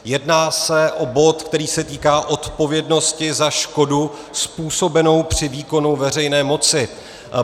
Jedná se o bod, který se týká odpovědnosti za škodu způsobenou při výkonu veřejné moci.